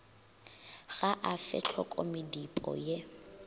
ga a fe tlhokomedipo ye